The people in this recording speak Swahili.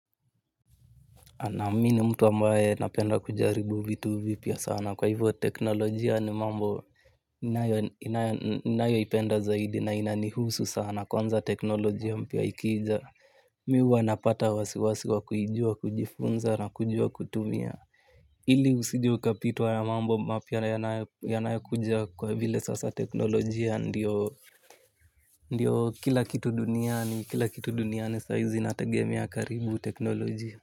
Anaamini mtu ambaye napenda kujaribu vitu vipya sana kwa hivyo teknolojia ni mambo inayoipenda zaidi na inanihusu sana kwanza teknolojia mpya ikija mi ua napata wasiwasi wa kuijua kujifunza na kujua kutumia. Ili usijeukapitwa ya mambo mapya yanayokuja kwa vile sasa teknolojia ndiyo ndiyo kila kitu duniani kila kitu duniani saizi nategemi karibu teknolojia.